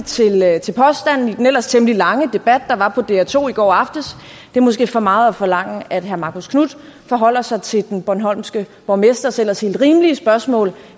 til påstanden i den ellers temmelig lange debat der var på dr2 i går aftes det er måske for meget forlangt at herre marcus knuth forholder sig til den bornholmske borgmesters ellers helt rimelige spørgsmål